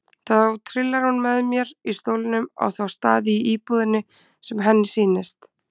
Þá trillar hún mér í stólnum á þá staði í íbúðinni sem henni sýnist.